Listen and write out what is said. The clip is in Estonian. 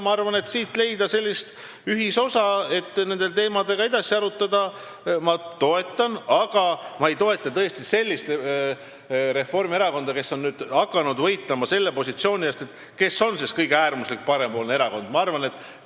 Ma toetan seda, et leida siin sellist ühisosa, et neid teemasid edasi arutada, aga ma ei toeta sellist Reformierakonda, kes on hakanud võitlema kõige äärmuslikuma parempoolse erakonna positsiooni eest.